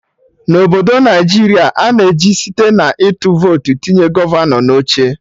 Na obodo Naijiria, a na-eji site na ịtụ votu tinye gọvanọ na oche